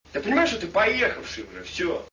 ты понимаешь что ты поехавший бля всё